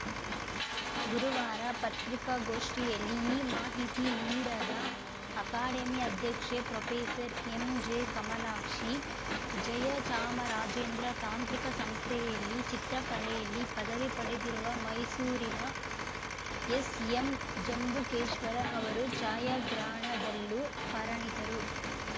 ಗುರುವಾರ ಪತ್ರಿಕಾಗೋಷ್ಠಿಯಲ್ಲಿ ಈ ಮಾಹಿತಿ ನೀಡದ ಅಕಾಡೆಮಿ ಅಧ್ಯಕ್ಷೆ ಪ್ರೊಫೇಸರ್ಎಂಜೆಕಮಲಾಕ್ಷಿ ಜಯಚಾಮರಾಜೇಂದ್ರ ತಾಂತ್ರಿಕ ಸಂಸ್ಥೆಯಲ್ಲಿ ಚಿತ್ರಕಲೆಯಲ್ಲಿ ಪದವಿ ಪಡೆದಿರುವ ಮೈಸೂರಿನ ಎಸ್‌ಎಂಜಂಬುಕೇಶ್ವರ ಅವರು ಛಾಯಾಗ್ರಹಣದಲ್ಲೂ ಪರಣಿತರು